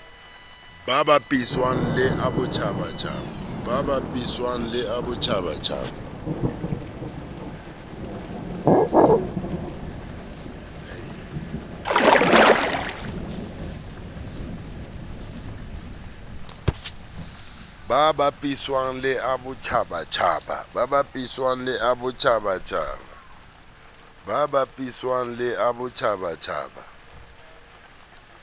ka bapiswang le a botjhabatjhaba